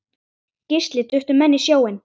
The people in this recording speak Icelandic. Gísli: Duttu menn í sjóinn?